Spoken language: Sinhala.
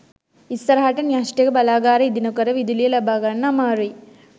ඉස්සරහට න්‍යෂ්ටික බලාගාර ඉදි නොකර විදුලිය ලබාගන්න අමාරුයි